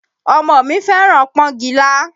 Ọmọ mi fẹ́ràn pọ́ngilá